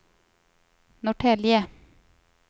Norrtälje